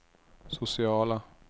sociala